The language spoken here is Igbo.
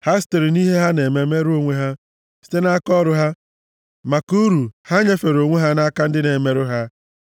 Ha sitere nʼihe ha na-eme merụọ onwe ha; site nʼaka ọrụ ha, maka uru ha nyefere onwe ha nʼaka ndị na-emerụ ha.